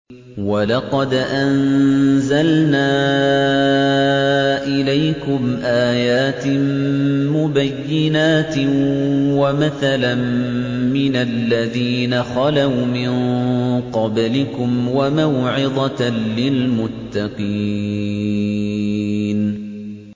وَلَقَدْ أَنزَلْنَا إِلَيْكُمْ آيَاتٍ مُّبَيِّنَاتٍ وَمَثَلًا مِّنَ الَّذِينَ خَلَوْا مِن قَبْلِكُمْ وَمَوْعِظَةً لِّلْمُتَّقِينَ